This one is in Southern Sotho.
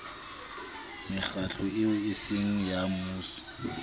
mekgatlo eo eseng ya mmuso